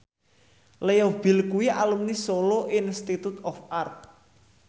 Leo Bill kuwi alumni Solo Institute of Art